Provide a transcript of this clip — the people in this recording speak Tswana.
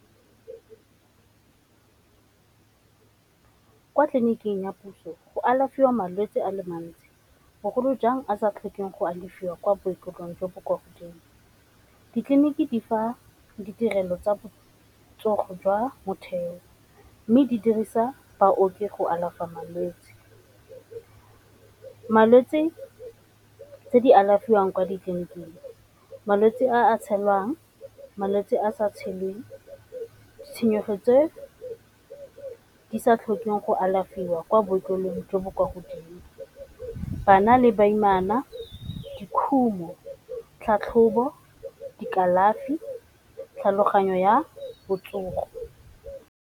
Kwa tleliniking ya puso go alafiwa malwetsi a le mantsi bogolo jang a sa tlhokeng go alafiwa kwa bookelong jo bo kwa godimo. Ditleliniki di fa ditirelo tsa botsogo jwa motheo, mme di dirisa baoki go alafa malwetsi. Malwetsi tse di alafiwang kwa ditleniking, malwetse a tshelwang, malwetsi a sa tshelweng, tshwenyego tse di sa tlhokeng go alafiwa kwa bookelong jo bo kwa godimo, bana le baimana, dikhumo, tlhatlhobo dikalafi tlhaloganyo ya botsogo..